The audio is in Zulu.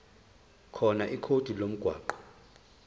khona ikhodi lomgwaqo